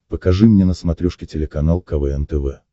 покажи мне на смотрешке телеканал квн тв